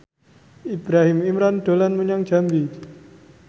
Ibrahim Imran dolan menyang Jambi